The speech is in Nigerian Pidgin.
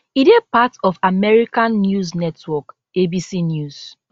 e dey part of american news network abc news